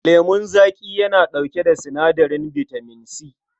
Lemun zaƙi yana ɗauke da sinadarin bitamin C.